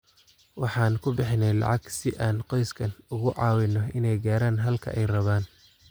“Waxaan ku bixinay lacag si aan qoysaskan ugu caawino inay gaaraan halka ay rabaan.